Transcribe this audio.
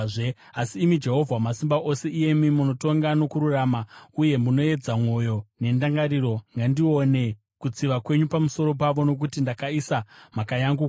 Asi imi Jehovha Wamasimba Ose, iyemi munotonga nokururama, uye munoedza mwoyo nendangariro, ngandione kutsiva kwenyu pamusoro pavo, nokuti ndakaisa mhaka yangu kwamuri.